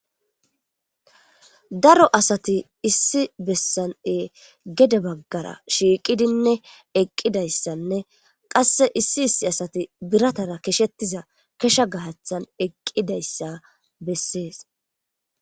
daro asati issi bessan e gede baggara shiiqidinne eqqidayssanne qasse issi issi asati biratara keshettiza kesha gahathan eqqidayssa bessees